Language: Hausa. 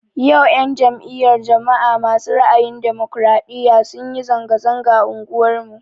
Yau 'yan jam'iyar jama'a ma su ra'ayin ɗumukraɗiya sunyi zanga-zanga a unguwar mu